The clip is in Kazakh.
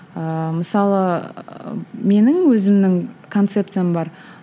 ыыы мысалы менің өзімнің концепциям бар